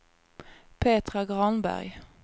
Petra Granberg